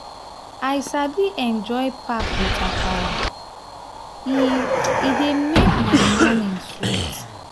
i sabi enjoy pap with akara; e e dey make my morning sweet.